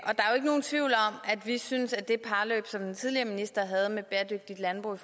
er jo ikke nogen tvivl om at vi synes at det parløb som den tidligere minister havde med bæredygtigt landbrug i